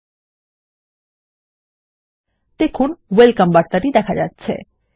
message has been created and I've been allowed access